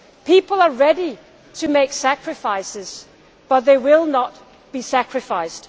People are ready to make sacrifices, but they will not be sacrificed.